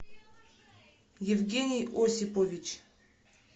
евгений осипович